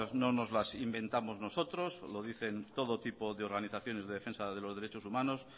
no nos las inventamos nosotros lo dicen todo tipo de organizaciones de defensa de los derechos humanos